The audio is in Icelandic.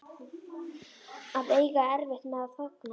Að eiga erfitt með að þagna